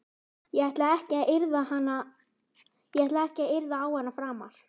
Ég ætla ekki að yrða á hana framar.